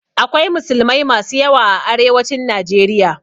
Akwai musulmai masu yawa a arewacin Najeriya.